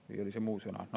Või oli see muu sõna?